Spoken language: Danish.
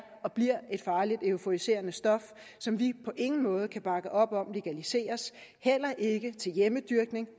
og bliver et farligt euforiserende stof som vi på ingen måde kan bakke op om legaliseres heller ikke til hjemmedyrkning